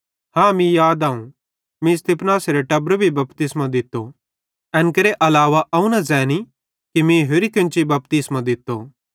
हाँ मीं याद आऊं मीं स्तिफनासेरे टब्बरे भी बपतिस्मो दित्तो एन केरे अलावा अवं न ज़ैनी कि मीं होरि केन्ची बपतिस्मो दित्तो